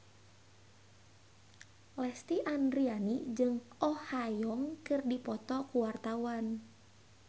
Lesti Andryani jeung Oh Ha Young keur dipoto ku wartawan